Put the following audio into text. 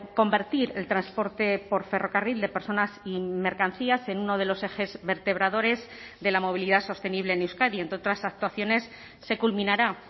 convertir el transporte por ferrocarril de personas y mercancías en uno de los ejes vertebradores de la movilidad sostenible en euskadi entre otras actuaciones se culminará